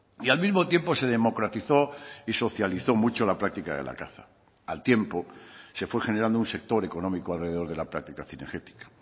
y al mismo tiempo se democratizó y socializó mucho la práctica de la caza al tiempo se fue generando un sector económico alrededor de la práctica cinegética